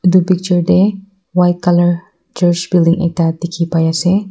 Etu picture tey white colour church building ekta dekhi pai ase.